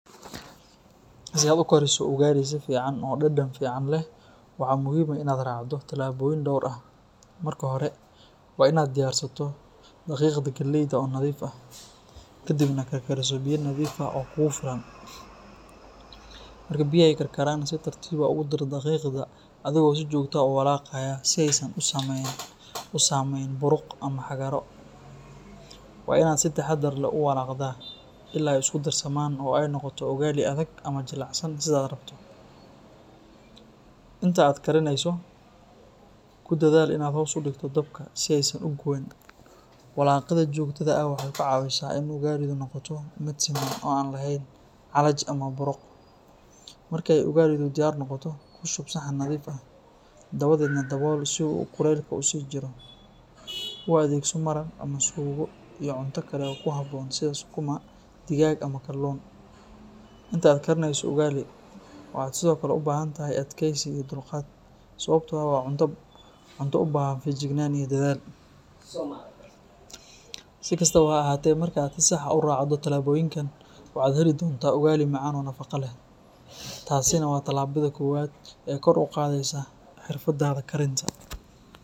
Si aad u kariso ugali si fiican oo dhadhan fiican leh, waxaa muhiim ah in aad raacdo talaabooyin dhowr ah. Marka hore, waa in aad diyaarsato daqiiqda galleyda oo nadiif ah, ka dibna karkariso biyo nadiif ah oo kugu filan. Marka biyaha ay karkaraan, si tartiib ah ugu dar daqiiqda adigoo si joogto ah u walaaqaya si aysan u samayn buruq ama xarago. Waa in aad si taxaddar leh u walaaqdaa ilaa ay isku darsamaan oo ay noqoto ugali adag ama jilicsan sidaad rabto. Inta aad karineyso, ku dadaal inaad hoos u dhigto dabka si aysan u guban. Walaaqidda joogtada ah waxay ka caawisaa in ugali-du noqoto mid siman oo aan lahayn cajal ama buruq. Marka ay ugali-du diyaar noqoto, ku shub saxan nadiif ah, dabadeedna dabool si uu kulaylka u sii jiro. U adeegso maraq ama suugo iyo cunto kale oo ku habboon sida sukuma, digaag ama kalluun. Inta aad karineyso ugali, waxaad sidoo kale u baahan tahay adkaysi iyo dulqaad, sababtoo ah waa cunto u baahan feejignaan iyo dadaal. Si kastaba ha ahaatee, marka aad si sax ah u raacdo talaabooyinkan, waxaad heli doontaa ugali macaan oo nafaqo leh. Taasina waa tallaabada koowaad ee kor u qaadaysa xirfaddaada karinta.